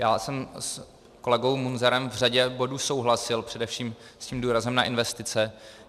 Já jsem s kolegou Munzarem v řadě bodů souhlasil, především s tím důrazem na investice.